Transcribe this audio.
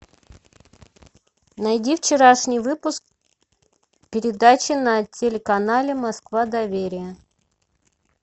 найди вчерашний выпуск передачи на телеканале москва доверие